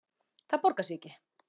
Það borgar sig ekki